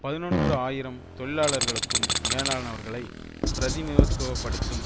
பதினொன்று ஆயிரம் தொழிலாளர்களுக்கும் மேலானவர்களை பிரதிநிதித்துவ படுத்தும்